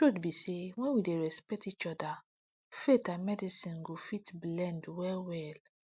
truth be say when we dey respect each other faith and medicine go fit blend well well